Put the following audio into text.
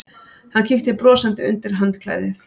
Hann kíkti brosandi undir handklæðið.